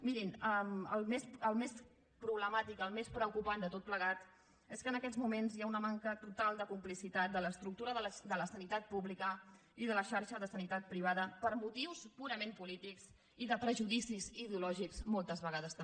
mirin el més problemàtic el més preocupant de tot plegat és que en aquests moments hi ha una manca total de complicitat de l’estructura de la sanitat pública i de la xarxa de sanitat privada per motius purament polítics i de prejudicis ideològics moltes vegades també